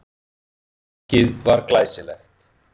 Markið var glæsilegt.